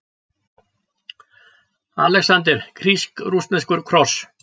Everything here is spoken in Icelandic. ALEXANDER: Grísk-rússneskur kross!